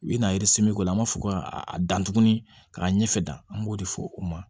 U bɛna k'o la an b'a fɔ ko ka dan tuguni k'a ɲɛfɛ dan an b'o de fɔ u ma